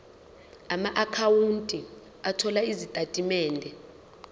amaakhawunti othola izitatimende